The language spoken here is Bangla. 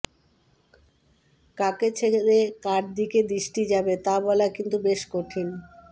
কাকে ছেড়ে কার দিকে দৃষ্টি যাবে তা বলা কিন্তু বেশ কঠিন